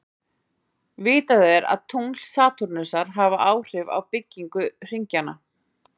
Vitað er að tungl Satúrnusar hafa áhrif á byggingu hringjanna.